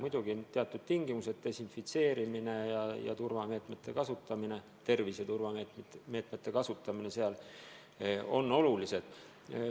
Muidugi on teatud tingimused – desinfitseerimine ja muude tervise turvameetmete kasutamine on oluline.